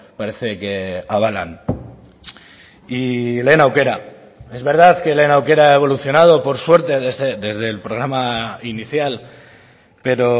parece que avalan y lehen aukera es verdad que lehen aukera ha evolucionado por suerte desde el programa inicial pero